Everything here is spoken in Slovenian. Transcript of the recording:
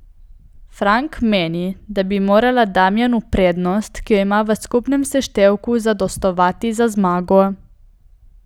Frank meni, da bi morala Damjanu prednost, ki jo ima v skupnem seštevku, zadostovati za zmago.